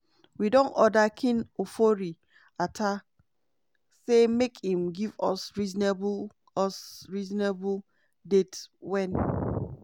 "we don order ken ofori-atta say make im give us reasonable us reasonable date wen